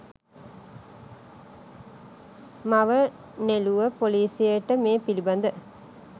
මව නෙළුව පොලිසියට මේ පිළිබඳ